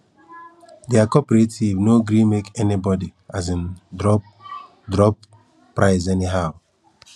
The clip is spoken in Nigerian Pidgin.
their cooperative no gree make anybody um drop drop price anyhow